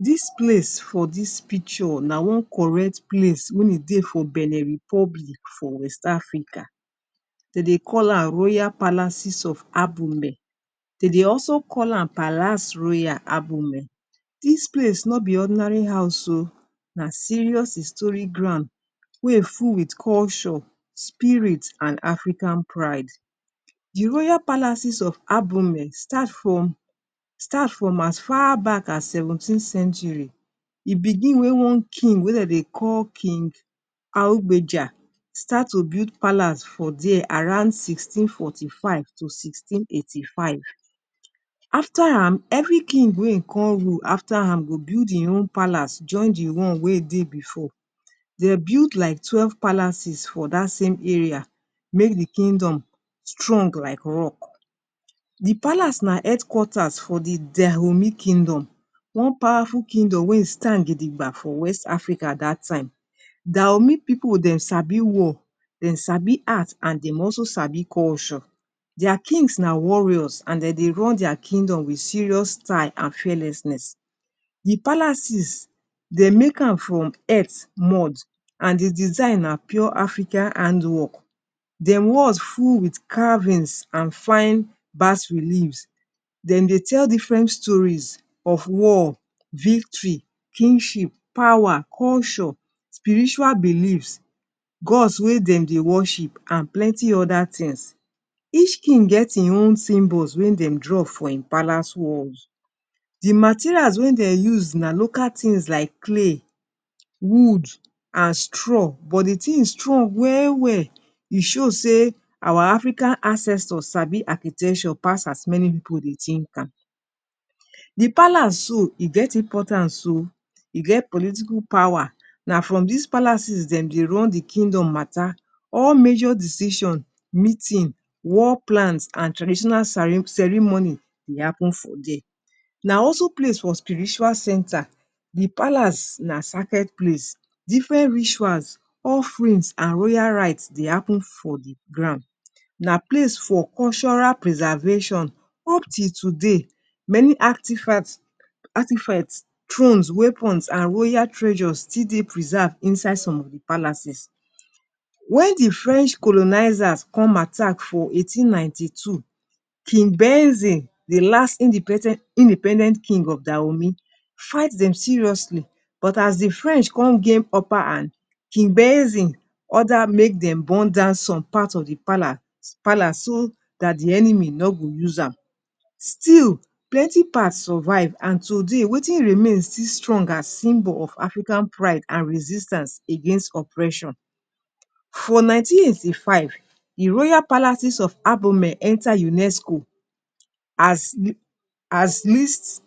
Dis place for dis picture na one correct place wey e dey for Benin Republic for West Africa. De dey call am Royal Palaces of Abume. De dey also call am Palace Royal Abume. Dis place no be ordinary house oh, na serious historic ground wey e full with culture, spirit, and African pride. The Royal Palaces of Abume start from start from as far back as seventeen century. E begin wey one king wey dem dey call king Augbeja, start to build palace for dere around sixteen forty-five to sixteen eighty-five. After am, every king wey e con rule after am go build e own palace join the one wey dey before. They built like twelve palaces for dat same area, make the kingdom strong like rock. The palace na headquarters for the Dahomey Kingdom, one powerful kingdom wey e stand gidigba for West Africa dat time. Dahomey pipu dem sabi war, dem sabi art, and dem also sabi culture. Their kings na warriors and de dey run their kingdom with serious style and fearlessness. The palaces de make am from earth mud and the design are pure African handwork. De walls full with carvings and fine bas-reliefs. De dey tell different stories of war, victory, kingship, power, culture, spiritual beliefs, gods wey de dey worship, and plenty other things. Each king get e own symbols wey dem draw for e palace walls. The materials wey dem use na local things like clay, wood, and straw, but the thing strong well well. E show sey our African ancestors sabi architecture pass as many pipu dey think am. The palace so, e get importance oh. E det political power. Na from des palaces dem dey run the kingdom matter, all major decision, meeting, war plans, and traditional ceremony dey happen for dere. Na also place for spiritual center. The palace na sacred place, different rituals, offerings, and royal rites dey happen for the ground. Na place for cultural preservation. Up till today many artifacts, artifacts, thrones, weapons, and royal treasures still dey preserve inside some of the palaces. When the French colonizers come attack for eighteen nineteen-two, King Benzin, the last independent independent king of Dahomey, fight dem seriously, but as the French come gain upper hand, King Benzin order make dem burn down some part of the palace palace so dat the enemy no go use am. Still, plenty parts survive and today wetin remain still strongest as symbol of African pride and resistance against oppression. For nineteen eighty-five the royal palaces of Abomey enter UNESCO as as list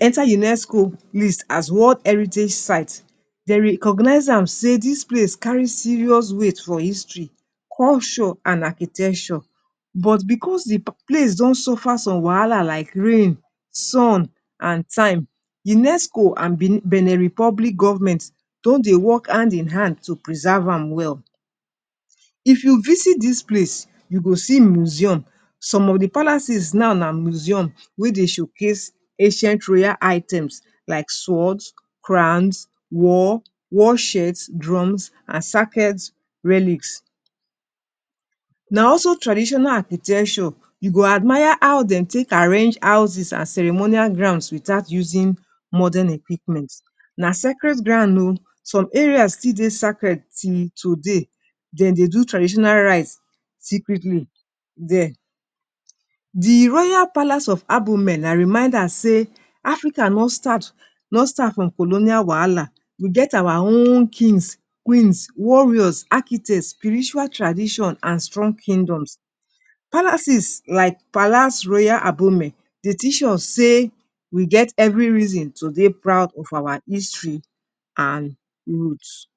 enter UNESCO list as World Heritage Site. They recognize am sey dis place carry serious weight for history, culture and architecture, but because the place don suffer o some wahala like rain, sun and time, UNESCO and Benin Republic government don dey work hand in hand to preserve am well. If you visit dis place you go see museum. Some of the palaces now na museum wey dey showcase ancient rare items like swords, crowns, war, war shirts, drums, and sacred relics. Na also traditional architecture you go admire how de take arrange houses and ceremonial grounds without using modern equipments. Na sacred ground oh. Some areas still dey sacred till today. De dey do traditional rites secretly dere. The Royal Palace of Abomey na reminder sey Africa no start no start from colonial wahala. We get our own kings, queens, warriors, architects, spiritual tradition, and strong kingdoms. Palaces like Palace Royal Abumen dey teach us sey we get every reason to dey proud of our history and roots.